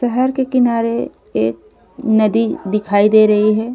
शहर के किनारे एक नदी दिखाई दे रही है।